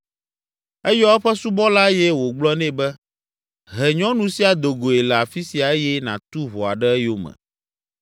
Eyɔ eƒe subɔla eye wògblɔ nɛ be, “He nyɔnu sia do goe le afi sia eye nàtu ʋɔa ɖe eyome.”